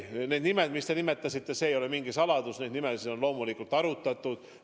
Need nimed, mis te nimetasite – see ei ole mingi saladus, et neid nimesid on arutatud.